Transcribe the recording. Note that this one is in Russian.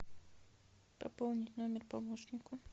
пополнить номер помощнику